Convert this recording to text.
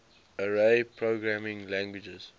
array programming languages